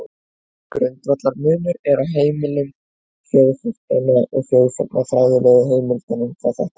Grundvallarmunur er á heimildum þjóðháttanna og þjóðsagnafræðilegu heimildunum hvað þetta varðar.